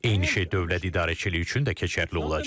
Eyni şey dövlət idarəçiliyi üçün də keçərli olacaq.